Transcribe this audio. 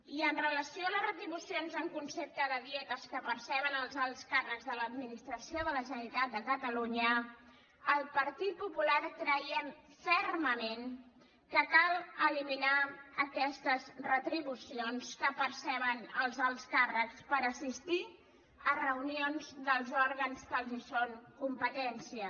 i amb relació a les retribucions en concepte de dietes que perceben els alts càrrecs de l’administració de la generalitat de catalunya al partit popular creiem fermament que cal eliminar aquestes retribucions que perceben els alts càrrecs per assistir a reunions dels òrgans que els són competència